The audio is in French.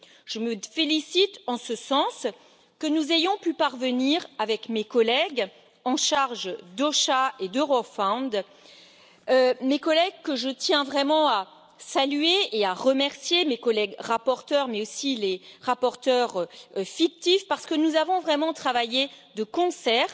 Je me félicite en ce sens que nous ayons pu y parvenir avec mes collègues en charge d'OSHA et d'Eurofound, que je tiens vraiment à saluer et à remercier, tant mes collègues rapporteurs que les rapporteurs fictifs, parce que nous avons vraiment travaillé de concert,